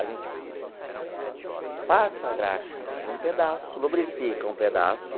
A gente passa a graxa num pedaço, lubrifica um pedaço,